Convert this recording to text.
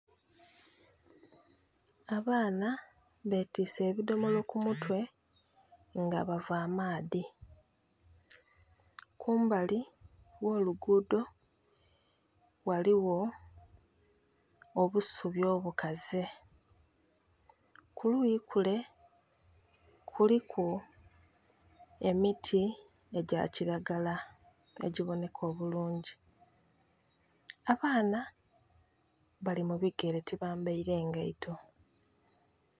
Abaana betiise ebidomolo ku mutwe nga bava amaadhi. Kumbali gh'olugudo ghaligho obusubi obukaze. Kuluyi kule kuliku emiti egya kiragala egiboneka obulungi. Abaana bali mu bigere tibambeire ngaito